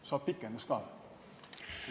Kas saab pikendust ka või?